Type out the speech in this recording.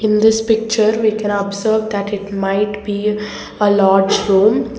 this picture we can observe that it might be a lodge room.